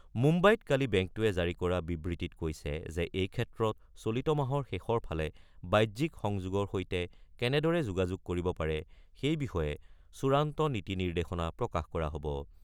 মুম্বাইত কালি বেংকটোৱে জাৰি কৰা বিবৃতিত কৈছে যে এই ক্ষেত্ৰত চলিত মাহৰ শেষৰ ফালে বাহ্যিক সংযোগৰ সৈতে কেনেদৰে যোগাযোগ কৰিব পাৰে সেই বিষয়ে চূড়ান্ত নীতি-নিৰ্দেশনা প্ৰকাশ কৰা হ'ব।